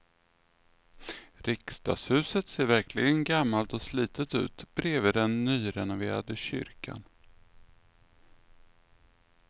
Riksdagshuset ser verkligen gammalt och slitet ut bredvid den nyrenoverade kyrkan.